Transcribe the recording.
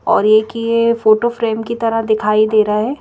और एक ये फोटो फ्रेम की तरह दिखाई दे रहा है।